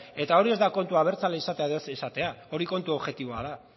eta hori ez da kontua abertzale izatea edo ez izatea hori kontu objektiboa da